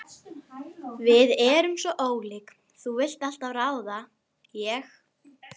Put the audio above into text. Við erum svo ólík, þú vilt alltaf ráða, ég.